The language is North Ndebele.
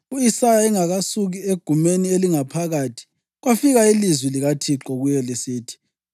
U-Isaya engakasuki egumeni elingaphakathi, kwafika ilizwi likaThixo kuye lisithi: